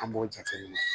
An b'o jateminɛ